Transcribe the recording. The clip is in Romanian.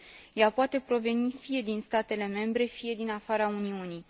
Ea poate proveni fie din statele membre, fie din afara Uniunii.